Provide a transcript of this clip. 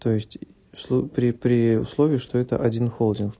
то есть при при условии что это один холдинг